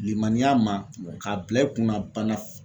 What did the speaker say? Limaniya, ,ma k'a bila i kunna bana